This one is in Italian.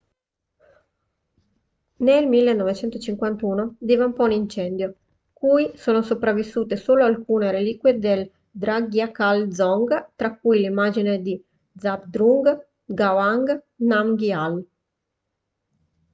nel 1951 divampò un incendio cui sono sopravvissute solo alcune reliquie del drugkyal dzong tra cui l'immagine di zhabdrung ngawang namgyal